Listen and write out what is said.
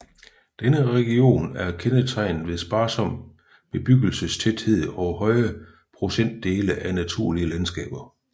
Denne region er kendetegnet ved sparsom bebyggelsestæthed og høje procentdele af naturlige landskaber